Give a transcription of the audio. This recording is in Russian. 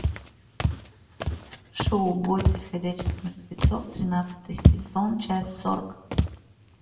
шоу бойтесь ходячих мертвецов тринадцатый сезон часть сорок